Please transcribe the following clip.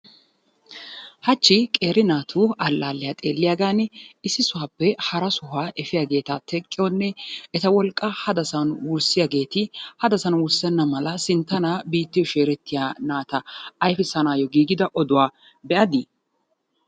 Hachchi qeeri naatu allaliyaa xeeliyaagani issi sohuwaappe hara sohuwaa efiyaaagetta teqqiyoonne etta wolqqa haddasani wurssiyagetti haddassan wurssena malla sinttana biitta sheerettiyaa naatta ayfissanayoo giigettiya odduwaa be'addi?